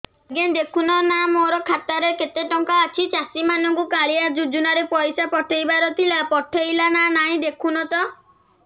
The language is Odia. ଆଜ୍ଞା ଦେଖୁନ ନା ମୋର ଖାତାରେ କେତେ ଟଙ୍କା ଅଛି ଚାଷୀ ମାନଙ୍କୁ କାଳିଆ ଯୁଜୁନା ରେ ପଇସା ପଠେଇବାର ଥିଲା ପଠେଇଲା ନା ନାଇଁ ଦେଖୁନ ତ